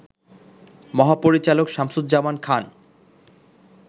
মহাপরিচালক শামসুজ্জামান খান